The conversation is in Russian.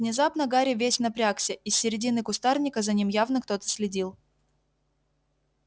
внезапно гарри весь напрягся из середины кустарника за ним явно кто-то следил